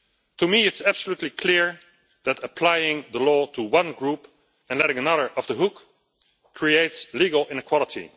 To me it's absolutely clear that applying the law to one group and letting another off the hook creates legal inequality.